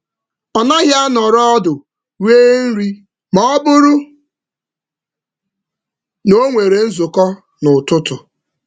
Ọ na-ahapụ nri nọdụ ala mgbe ọ nwere nzukọ n’oge ụtụtụ.